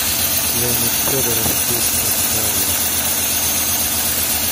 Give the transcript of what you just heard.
леонид федоров песня таял